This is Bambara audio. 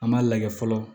An m'a lajɛ fɔlɔ